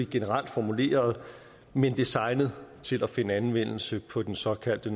generelt formuleret men designet til at finde anvendelse på den såkaldte